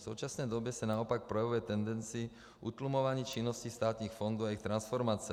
V současné době se naopak projevuje tendence utlumování činnosti státních fondů a jejich transformace.